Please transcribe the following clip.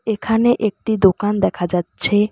এখানে একটি দোকান দেখা যাচ্ছে।